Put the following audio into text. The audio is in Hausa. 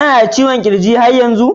Kana da ciwon kirji yar yanzu?